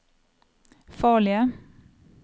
farlige